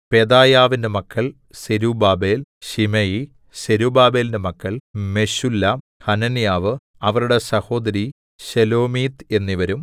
പെദായാവിന്റെ മക്കൾ Zerubbabel Shimei സെരുബ്ബാബേലിന്റെ മക്കൾ മെശുല്ലാം ഹനന്യാവ് അവരുടെ സഹോദരി ശെലോമീത്ത് എന്നിവരും